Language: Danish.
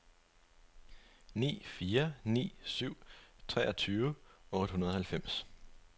ni fire ni syv treogtyve otte hundrede og halvfems